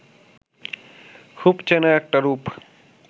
খুব চেনা একটা রূপ